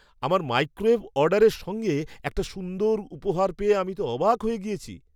আমার মাইক্রোওয়েভ অর্ডারের সঙ্গে একটা সুন্দর উপহার পেয়ে আমি অবাক হয়ে গিয়েছি।